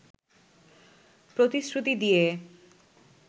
প্রতিশ্রুতি দিয়ে